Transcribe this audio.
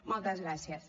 moltes gràcies